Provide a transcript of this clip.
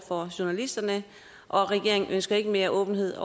for journalisterne og at regeringen ikke ønsker mere åbenhed